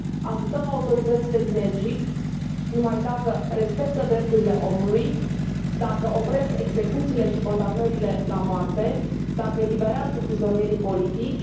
Ajutăm autoritățile din Egipt numai dacă respectă drepturile omului, dacă opresc execuțiile și condamnările la moarte, dacă eliberează prizonierii politici.